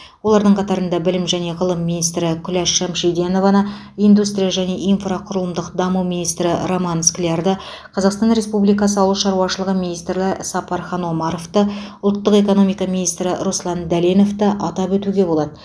олардың қатарында білім және ғылым министрі күләш шамшидинованы индустрия және инфрақұрылымдық даму министрі роман склярды қазақстан республикасы ауыл шаруашылығы министрі сапархан омаровты ұлттық экономика министрі руслан дәленовті атап өтуге болады